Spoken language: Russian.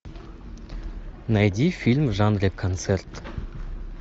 найди фильм в жанре концерт